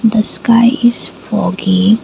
the sky is foggi.